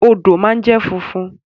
Odò ma jẹ fúnfún.